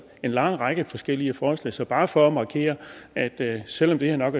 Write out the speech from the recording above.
en lang række forskellige forslag så bare for at markere at selv om det her nok